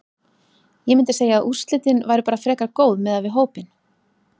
Ég myndi segja að úrslitin væru bara frekar góð miðað við hópinn.